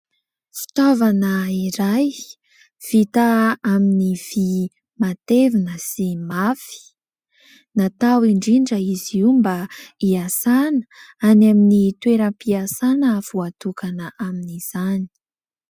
Fitaovana iray, vita amin'ny vy matevina sy mafy. Natao indrindra izy io mba hiasàna any amin'ny toeram-piasàna voatokana amin'izany.